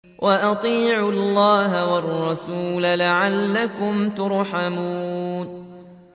وَأَطِيعُوا اللَّهَ وَالرَّسُولَ لَعَلَّكُمْ تُرْحَمُونَ